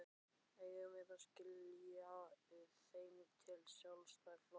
Eigum við að skila þeim til Sjálfstæðisflokksins?